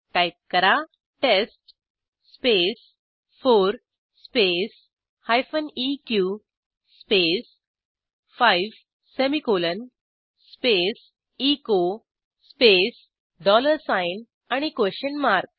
type करा test space 4 space hyphen इक space 5 semicolon space echo space dollar sign question mark